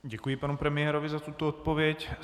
Děkuji panu premiérovi za tuto odpověď.